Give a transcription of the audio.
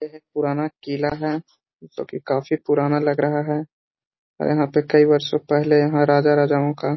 यह एक पुराना किला है जो कि काफी पुराना लग रहा है यहाँ पर कई वर्षों पहले यहाँ राजा राजाओं का --